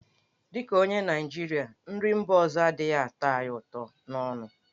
Dị ka onye Naịjirịa, nri mba ọzọ adịghị atọ ya ụtọ n'ọnụ.